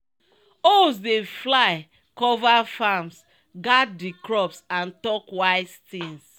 owls dey fly cova farms guard di crops and talk wise tins.